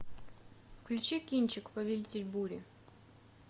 включи кинчик повелитель бури